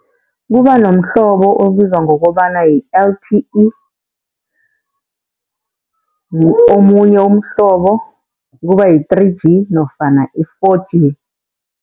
Kuba nomhlobo obizwa ngokobana yi-L_T_E, omunye umhlobo kuba yi-three G nofana i-four G.